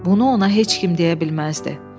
Bunu ona heç kim deyə bilməzdi.